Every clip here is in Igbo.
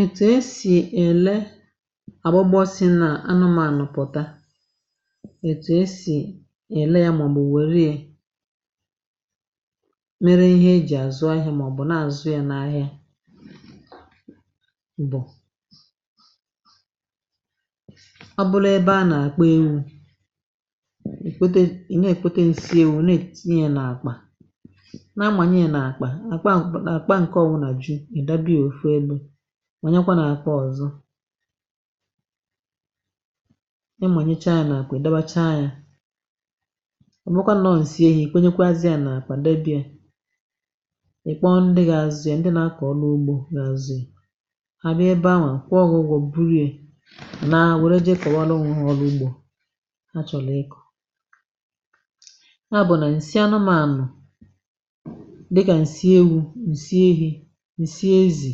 Etù e sì èle àgbụgbọ si nà anụmànụ̀ pụ̀ta, ètù e sì èle ya màọ̀bụ̀ wèrie mere ihe e jì àzụ ahịa màọ̀bụ̀ na-àzụ ya n’ahịa bụ ọ bụlụ ebe a nà-àkpa ewu̇ èkwete ị̀ nà-èkwete ǹsị ewu̇ na-ètìnyè e nà-àkpà na-amanyie n'akpa, akpa nke ọwụna ju, ịdọbịa òfu ebe mànyekwa nà àkpà ọzọ̇ ị mànyechà ya nà àkpà ị̀dọbacha ya. Ọbụkwà nọọ̀ ǹsị ehi ìkwenyekwazị a nà àkpà debie, ị̀kpọọ ndị gà azịa ndị nà akọ̀ ọlụ ugbȯ gà azịa hà abịa ebe anwa kwụọ gụgwọ̇ burie nàa wère je kọ̀wara onwe ha ọlụ ugbȯ ha chọ̀lọ̀ ịkọ̀. Nya bụ̀ nà ǹsị anụmȧànụ̀ dịka nsị ewu, nsị ehi, ǹsị ezì,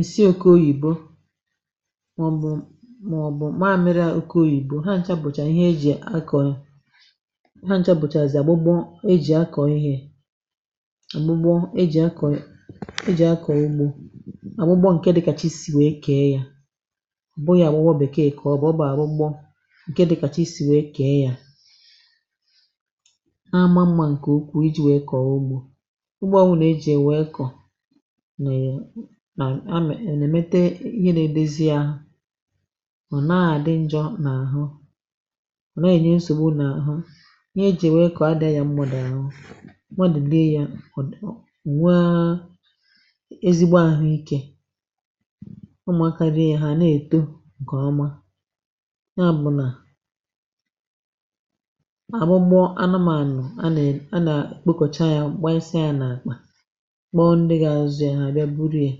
ǹsị oke oyìbo màọbụ̇ màọbụ̇ mamịrị à oke oyìbo ha nchabụ̀chà ihe e jì akọ̀ ha nchabụ̀chàzị àgbụgbọ e jì akọ̀ ihe àgbụgbọ e jì akọ̀ e jì akọ̀ ugbȯ, àgbụgbọ ǹke dịkàchisi wee kee ya ọbụghị àgbụgbọ bekee ka ọ wụ ọ bụ̀ agbọgbọ àgbụgbọ ǹke dịkàchisi wee kèe ya ọ naama mma nkukwuu iji wee kọọ ugbo. Ugbo ọwụnà e jì è wee kọ̀ nà e amị è nèmete ihe nȧ edozi ahụ ọ̀ naghȧ dị njọ n’àhụ ihe e ji ye we kọ ada enyẹ nsògbu n’àhụ ihe ejì è wee kọ̀ adịȧ yȧ mmadụ̀ àhụ. Mmadụ rie yȧ o nwaa ezigbo àhụikė. Ụmụ̀akȧ rie yȧ hà nà èto ǹkọ̀ọma nà àbụ nà àbụgbọ anụmȧnụ̀ a nà è a nà ekpokọcha yȧ gbanyesịa ya nakpa kpọ̀ọ ndị gȧ azụ yȧ hà àbịa buri ya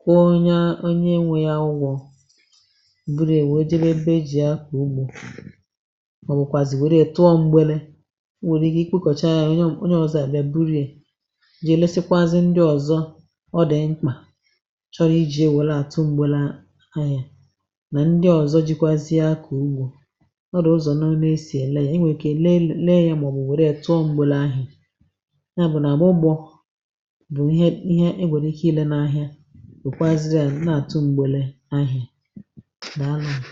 kwụọ onye onye nwė yȧ ụgwọ ̇ buri e wèe jebe ebe e ji̇ ya akọ ugbȯ màọbụ̀kwàzì wère tụọ m̀gbèle, o nwèrè ike ikpòkọcha yȧ onye ọ̀zọ àbịa burie je lesịkwàzì ndị ọ̀zọ ọ dị mkpà chọrọ iji̇ e welatụ mgbėle ahịa mà ndị ọ̀zọ jikwazịa akọ ugbo. Ọ dị ụzọ none e sì èle ya i nwèike leė ya màọbụ̀ wère ya tụọ m̀gbèlà ahị̀a. Nya bụ̀ nagbụgbọ bụ ihe ihe e nwėrė ike ilė n’ahịa wekwazia ya nà-àtụ mgbèlè ahịa, daalụnụ